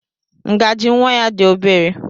Ngaji nwa ya dị obere.